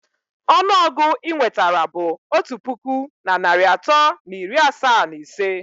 Ọnụ ọgụ inwetara bụ otu puku na narị atọ na iri asaa na ise.